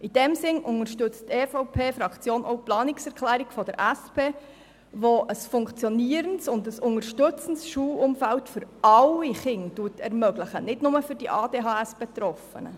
In diesem Sinn unterstützt die EVP-Fraktion auch die Planungserklärung der SP-JUSO-PSA-Fraktion, die ein funktionierendes und unterstützendes Schulumfeld für alle Kinder fordert, nicht nur für die ADHS-Betroffenen.